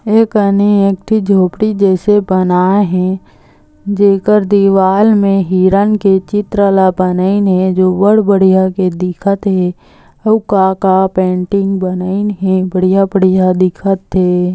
ए कने एक ठो झोपड़ी जइसे बनाय हे जेकर दीवाल हिरन के चित्र ला बनाइन हे जो बड बढ़िया दिखत हे अउ का-का पेंटिंग बनाइन हे बढ़िया- बढ़िया दिखत हे।